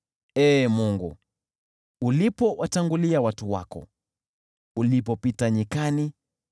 Ee Mungu, ulipowatangulia watu wako, ulipopita nyikani,